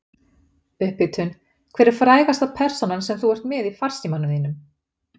upphitun Hver er frægasta persónan sem þú ert með í farsímanum þínum?